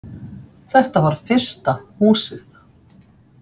Þetta var fyrsta Húsið.